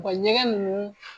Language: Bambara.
Wa ɲɛgɛn ninnu